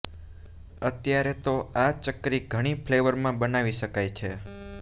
અત્યારે તો આ ચકરી ઘણી ફ્લેવરમાં બનાવી શકાય છે